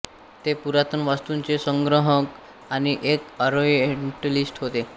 ते पुरातन वास्तुंचे संग्रहक आणि एक ओरिएंटलिस्ट होते